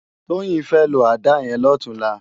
Toyin fè ló àdá yèn lòtúnlá